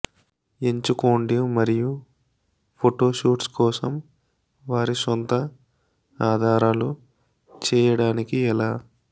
ఎంచుకోండి మరియు photo shoots కోసం వారి సొంత ఆధారాలు చేయడానికి ఎలా